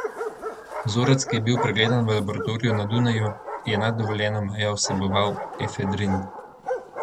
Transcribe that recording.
Vzorec, ki je bil pregledan v laboratoriju na Dunaju, je nad dovoljeno mejo vseboval efedrin.